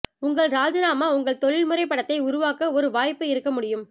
உங்கள் ராஜினாமா உங்கள் தொழில்முறை படத்தை உருவாக்க ஒரு வாய்ப்பு இருக்க முடியும்